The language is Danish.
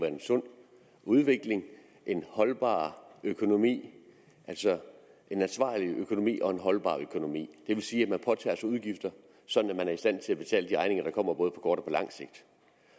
en sund udvikling en holdbar økonomi altså en ansvarlig økonomi og en holdbar økonomi det vil sige at man påtager sig udgifter sådan at man er i stand til at betale de regninger der kommer både på kort